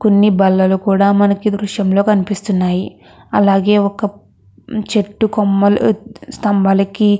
కొన్ని బల్లలు కూడా మనకి దృశ్యంలో కనిపిస్తున్నాయి. అలాగే ఒక చెట్టు కొమ్మలు స్తంభాలకి --